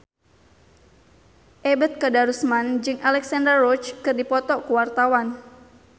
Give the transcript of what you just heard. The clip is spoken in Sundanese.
Ebet Kadarusman jeung Alexandra Roach keur dipoto ku wartawan